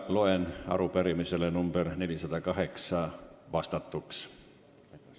Arupärimisele nr 408 on vastatud.